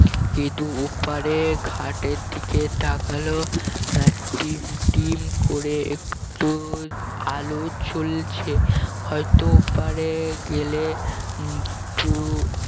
গেদু ওপারের ঘাটের দিকে তাকাল আহ টিম টিম করে একটু আলো জ্বলছে হয়ত ওপারে গেলে উম দু